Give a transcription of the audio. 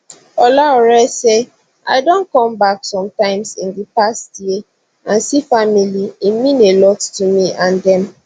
olaore say i don come back some times in di past year and see family e mean a lot to me and dem